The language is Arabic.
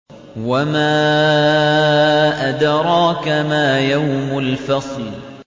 وَمَا أَدْرَاكَ مَا يَوْمُ الْفَصْلِ